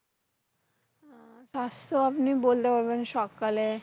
স্বাস্থ্য আপনি বললে বলবেন সকালে,